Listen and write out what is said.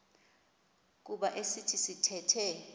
kuba esi sithethe